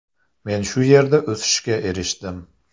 Men shu yerda o‘sishga erishdim.